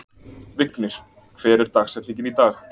Vignir, hver er dagsetningin í dag?